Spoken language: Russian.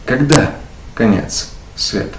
когда конец свет